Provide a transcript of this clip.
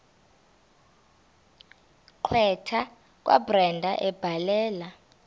gqwetha kabrenda ebhalela